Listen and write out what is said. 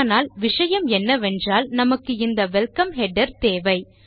ஆனால் விஷயம் என்னவென்றால் நமக்கு இந்த வெல்கம் ஹெடர் தேவை